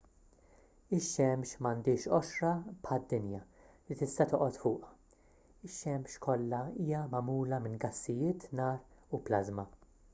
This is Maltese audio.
ix-xemx m'għandhiex qoxra bħad-dinja li tista' toqgħod fuqha ix-xemx kollha hija magħmula minn gassijiet nar u plażma